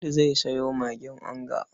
Audu zai sayo magin onga.